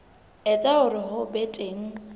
etsa hore ho be teng